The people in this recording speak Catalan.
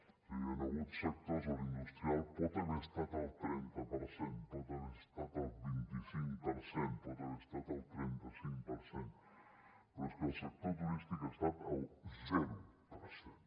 és a dir hi han hagut sectors on l’industrial pot haver estat al trenta per cent pot haver estat al vint cinc per cent pot haver estat al trenta cinc per cent però és que el sector turístic ha estat al zero per cent